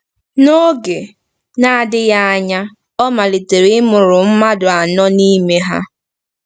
N'oge na-adịghị anya, ọ malitere ịmụrụ mmadụ anọ n'ime ha.